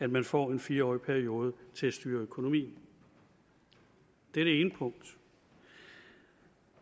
man får en fire årig periode til at styre økonomien det er det ene punkt